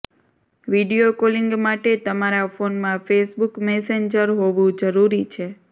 video calling માટે તમારા ફોનમાં ફેસબુક મેસેન્જર હોવું જરૂરી છે